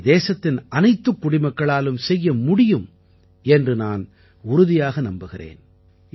இதை தேசத்தின் அனைத்துக் குடிமக்களாலும் செய்ய முடியும் என்று நான் உறுதியாக நம்புகிறேன்